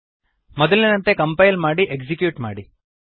ಮೊದಲಿನಂತೆ ಕಂಪೈಲ್ ಮಾಡಿ ಎಕ್ಸಿಕ್ಯೂಟ್ ಮಾಡಿ